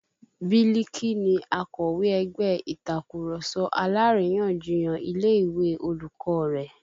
Biliki ni akọ̀wé ẹgbẹ́ Ìtàkurọ̀sọ alárìyanjiyàn ilé ìwé olùkọ́ rẹ̀